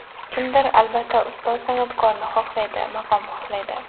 Kimdir, albatta, ustoz san’atkorni xohlaydi, maqom xohlaydi.